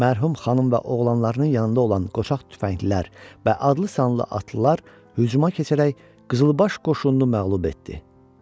Mərhum xanım və oğlanlarının yanında olan qoçaq tüfənglilər və adlı-sanlı atlılar hücuma keçərək Qızılbaş qoşununu məğlub etdi.